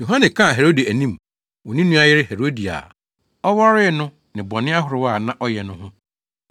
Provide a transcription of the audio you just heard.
Yohane kaa Herode anim wɔ ne nua yere Herodia a ɔwaree no ne bɔne ahorow a na ɔyɛ no ho.